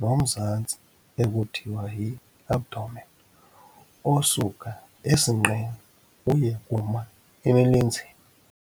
nomzantsi ekuthiwa yi-abdomen osuka esinqeni uye kuma emilenzeni.